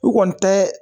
U kɔni tɛ